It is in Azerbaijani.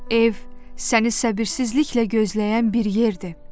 Ev səni səbirsizliklə gözləyən bir yerdir.